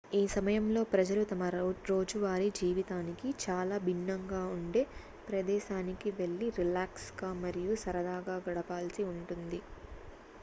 ఈ సమయంలో ప్రజలు తమ రోజువారీ జీవితానికి చాలా భిన్నంగా ఉండే ప్రదేశానికి వెళ్లి రిలాక్స్ గా మరియు సరదాగా గడపాల్సి ఉంటుంది